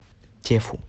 тефу